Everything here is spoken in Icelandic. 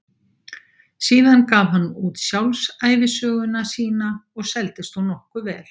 Síðan gaf hann út sjálfsævisöguna sína og seldist hún nokkuð vel.